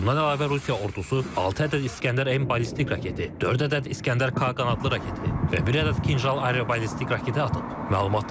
Bundan əlavə Rusiya ordusu 6 ədəd İsgəndər M ballistik raketi, 4 ədəd İsgəndər K qanadlı raketi və 1 ədəd Kinjal aero ballistik raketi atıb.